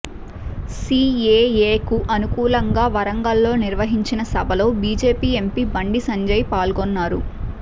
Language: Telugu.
సీఏఏకు అనుకూలంగా వరంగల్ లో నిర్వహించిన సభలో బీజేపీ ఎంపీ బండి సంజయ్ పాల్గొన్నారు